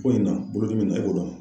Ko in na ;bolodimi in na e b'o dɔn wa?